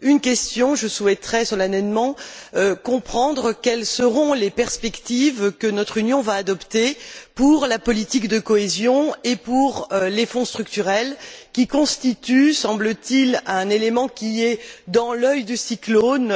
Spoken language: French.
Une question je souhaiterais solennellement comprendre quelles sont les perspectives que notre Union va adopter pour la politique de cohésion et pour les Fonds structurels, qui constituent, semble t il, un élément qui se trouve dans l'œil du cyclone